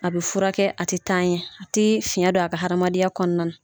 A bɛ fura kɛ a tɛ taa ɲɛ a tɛ fiyɛn don a ka hamadenya kɔnɔna na.